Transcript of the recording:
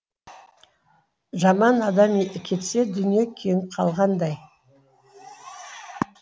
жаман адам кетсе дүние кеңіп қалғандай